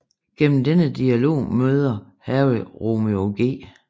Gennem denne dialog møder Harry Romeo G